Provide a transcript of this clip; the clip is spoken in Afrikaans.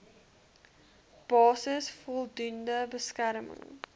basis voldoende beskerming